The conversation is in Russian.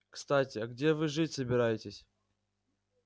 кстати а где вы жить собираетесь